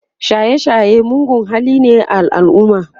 shaye shaye mugun hali ne a alumma